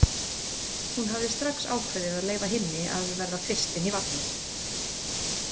Hún hafði strax ákveðið að leyfa hinni að verða fyrst inn í vagninn.